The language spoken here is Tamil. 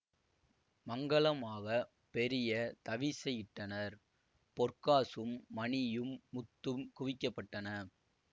மங்கலமாகப் பெரிய தவிசை இட்டனர் பொற்காசும் மணியும் முத்தும் குவிக்கப்பட்டன